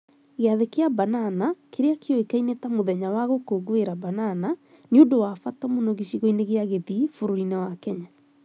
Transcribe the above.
Gĩathĩ kĩa Banana, kĩrĩa kĩoĩkaine ta Mũthenya wa Gũkũngũĩra Banana, nĩ ũndũ wa bata mũno gĩcigo-inĩ kĩa Kisii bũrũri-inĩ wa Kenya.